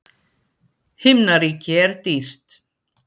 Himnaríki er dýrt.